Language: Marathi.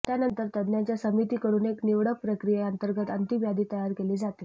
त्यानंतर तज्ञांच्या समितीकडून एक निवड प्रक्रियेअंतर्गत अंतिम यादी तयार केली जाते